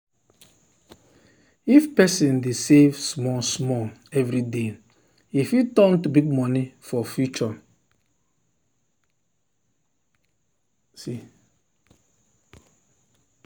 if person dey save small small every day e fit turn to big money for future.